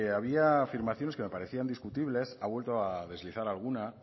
había afirmaciones que me parecían discutibles ha vuelto a deslizar alguna